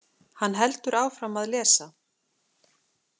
Hann heldur áfram að lesa: